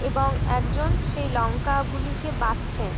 এবং একজন সেই লঙ্কা গুলিকে বাচ্ছেন।